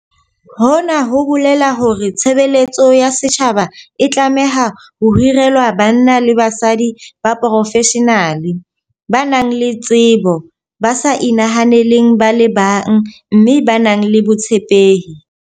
Hona ho bolela hore tshe beletso ya setjhaba e tlameha ho hirelwa banna le basadi ba profeshenale, ba nang le tsebo, ba sa inahaneleng ba le bang mme ba nang le botshepehi.